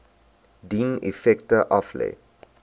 dien effekte aflê